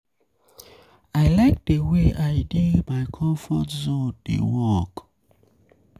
I like the way I dey for my comfort zone dey work.